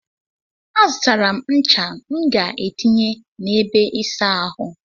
A zụtara m ncha m ga etinye na ebe ịsa ahụ.